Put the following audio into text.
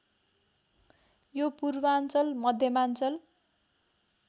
यो पूर्वाञ्चल मध्यमाञ्चल